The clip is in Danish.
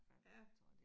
Ja